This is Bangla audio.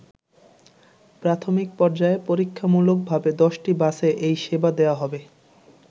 প্রাথমিক পর্যায়ে পরীক্ষামূলক ভাবে ১০টি বাসে এই সেবা দেয়া হবে।